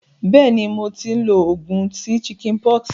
Béèni, mo ti n lo ogùn sí chickenpox